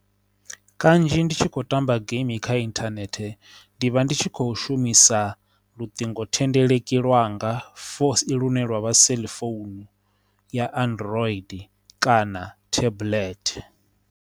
Kanzhi ndi tshi kho tamba game kha internet ndi vha ndi tshi kho shumisa luṱingothendeleki lwanga force lune lwavha seḽifounu ya android kana tablet.